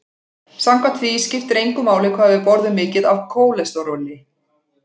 Samkvæmt því skipti engu máli hvað við borðum mikið af kólesteróli.